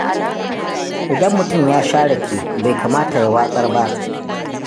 Idan mutum ya sha rake, bai kamata ya watsar ba.